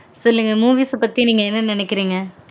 சொல்லுங்க movies அ பத்தி நீங்க என்ன நெனைகிறீங்க